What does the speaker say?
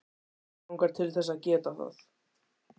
Mig langar til þess að geta það.